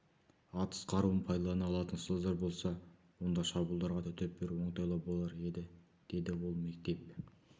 атыс қаруын пайдалана алатын ұстаздар болса онда шабуылдарға төтеп беру оңтайлау болар еді деді ол мектеп